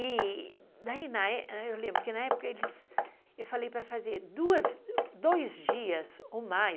E daí...eu lembro que na época eu falei para fazer duas, dois dias ou mais.